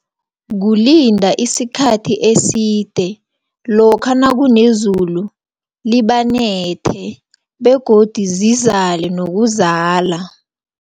Kulida isikhathi eside, lokha nakunezulu, libanethe, begodu zizale nokuzala.